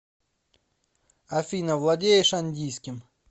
афина владеешь андийским